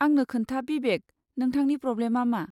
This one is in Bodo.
आंनो खोन्था बिबेक, नोंथांनि प्र'ब्लेमआ मा?